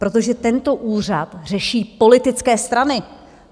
Protože tento úřad řeší politické strany.